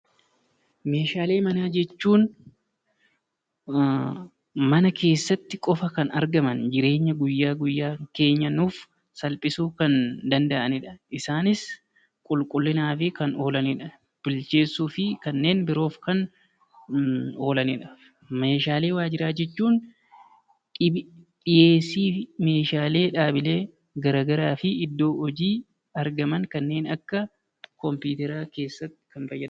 Meeshaalee manaa jechuun mana keessaati qofa kan argaman, guyyaa guyyaa keenya nuuf salphisuu kan danda'anidha. Isaanis qulqulliinaaf kan oolanidha. Bilcheessuufii kanneen biroo oolanidha. Meeshaalee waajiraa jechuun dhiheessii fi Meeshaalee dhaabilee garaagaraa fi iddoo hojii argaman kanneen akka kompiitara keessatti kan fayyadamnudha.